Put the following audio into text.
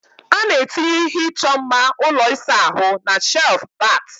A na-etinye ihe ịchọ mma ụlọ ịsa ahụ na shelf bat